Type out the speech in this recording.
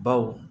Baw